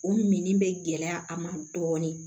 O mini bɛ gɛlɛya a ma dɔɔnin